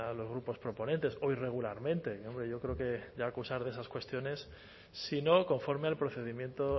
los grupos proponentes o irregularmente y hombre yo creo que ya acusar de esas cuestiones si no conforme al procedimiento